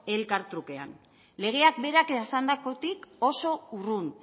elkar trukean legeak berak esandakotik oso urrun